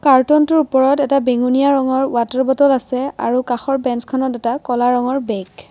কাৰ্টনটোৰ ওপৰত এটা বেঙুনীয়া ৰঙৰ ৱাটাৰ বটল আছে আৰু কাষৰ বেঞ্চখনত এটা ক'লা ৰঙৰ বেগ ।